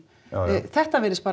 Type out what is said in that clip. þetta virðist